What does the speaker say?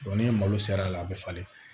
ni malo sera a la a bi falen